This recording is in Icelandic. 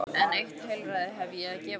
En eitt heilræði hef ég að gefa þér.